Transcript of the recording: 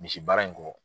Misi baara in kɔ